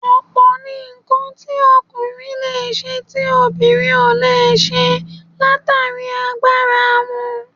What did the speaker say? Ọ̀pọ̀ ni nǹkan tí ọkùnrin leè ṣe tí obìnrin ò lè ṣe látàrí agbára wọn